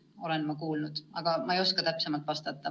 Ma olen seda kuulnud, aga täpsemalt vastata ei oska.